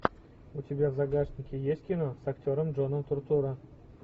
у тебя в загашнике есть кино с актером джоном туртурро